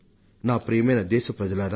ప్రియమైన నా దేశ ప్రజలారా